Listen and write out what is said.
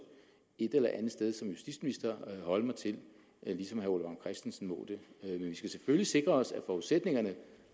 et eller andet sted som justitsminister holde mig til ligesom herre ole vagn christensen må det men vi skal selvfølgelig sikre os at forudsætningerne